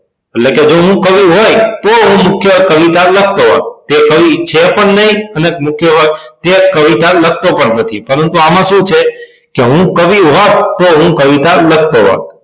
એટલે કે જો હું કવિ હોય તો હું મુખ્ય કવિતા લખતો હોત પણ તે કવિ છે પણ નઇ અને મુખ્ય હોય અને તે કવિતા લખતો પણ નથી પરંતુ આમાં સુ છે કે હું કવિ હોત તો હું કવિતા લખતો હોત